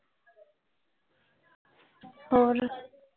ਹੋਰ